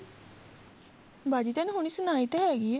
ਬਾਜੀ ਤੈਨੂੰ ਹੁਣੇ ਸੁਨਾਈ ਤੇ ਹੈਗੀ ਏ